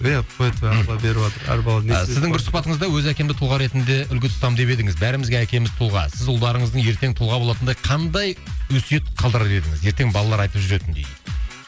иә тфа тфа алла беріватыр әр баланың несібесі сіздің бір сұхбатыңызда өз әкемді тұлға ретінде үлгі тұтамын деп едіңіз бәрімізге әкеміз тұлға сіз ұлдарыңыздың ертең тұлға болатындай қандай өсиет қалдырар едіңіз ертең балалар айтып жүретіндей